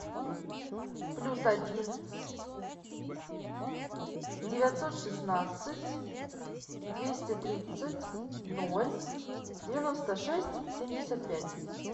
плюс один девятьсот шестнадцать двести тридцать ноль девяносто шесть семьдесят пять